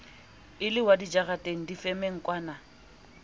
e le wa dijareteng difemengkwana